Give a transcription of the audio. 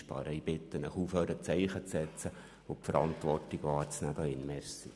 Ich bitte Sie aufzuhören mit dem Zeichensetzen und ihre Verantwortung wahrzunehmen.